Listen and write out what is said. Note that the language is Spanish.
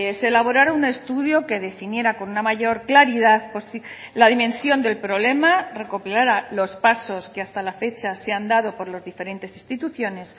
se elaborara un estudio que definiera con una mayor claridad la dimensión del problema recopilara los pasos que hasta la fecha se han dado por los diferentes instituciones